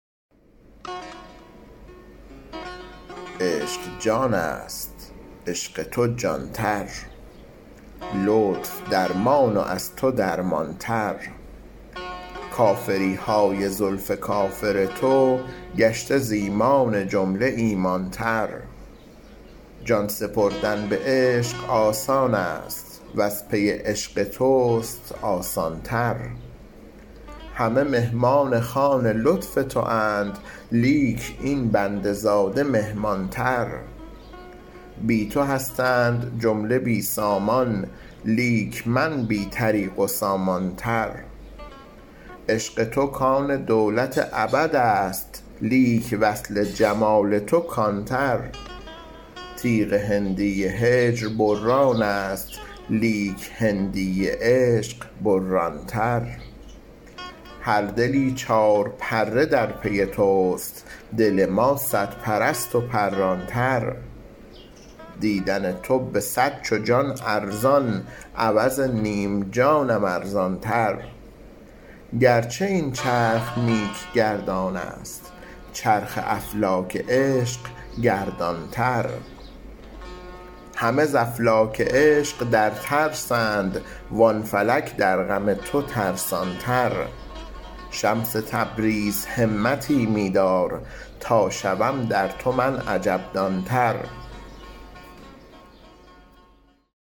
عشق جانست عشق تو جان تر لطف درمان و از تو درمان تر کافری های زلف کافر تو گشته ز ایمان جمله ایمان تر جان سپردن به عشق آسانست وز پی عشق توست آسان تر همه مهمان خوان لطف تواند لیک این بنده زاده مهمان تر بی تو هستند جمله بی سامان لیک من بی طریق و سامان تر عشق تو کان دولت ابدست لیک وصل جمال تو کان تر تیغ هندی هجر برانست لیک هندی عشق بران تر هر دلی چارپره در پی توست دل ما صدپرست و پران تر دیدن تو به صد چو جان ارزان عوض نیم جانم ارزان تر گرچه این چرخ نیک گردانست چرخ افلاک عشق گردان تر همه ز افلاک عشق در ترسند وان فلک در غم تو ترسان تر شمس تبریز همتی می دار تا شوم در تو من عجب دان تر